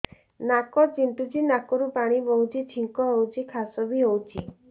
ନାକ ଚୁଣ୍ଟୁଚି ନାକରୁ ପାଣି ବହୁଛି ଛିଙ୍କ ହଉଚି ଖାସ ବି ହଉଚି